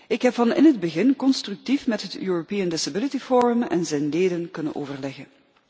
Ik heb van in het begin constructief met het Europees Gehandicaptenforum en zijn leden kunnen overleggen.